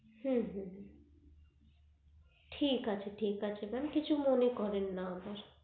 হু হু হু ঠিক আছে ঠিক আছে mam কিছু মনে করেন না আবার